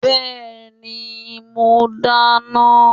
Bẹ́ẹ̀ni, mo dáná.